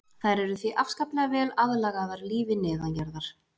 þær eru því afskaplega vel aðlagaðar lífi neðanjarðar